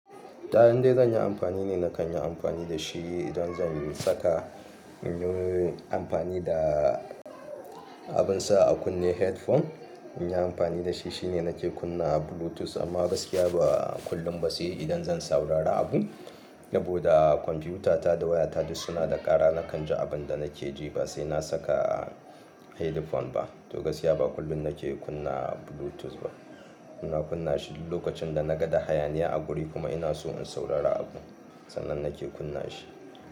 Ta indai zan yi amfani ne, na kan yi amfani da shi idan zan saka in yi amfani da abin sa a kunne headphone. In yi amfani da shi shine nake kunna bluetooth amma gaskiya ba kullum ba si'i idan zan saurara abu. Saboda kwamfiyuta ta da waya ta suna da ƙara na kan je abin da nake je ba sai na saka a headphone ba. To gaskiya ba kullum nake kunna bluetooth ba. Ina kunna shi lokacin da na gaɗa hayaniya a guri kuma ina so in saurara abu. Sannan nake kunna shi.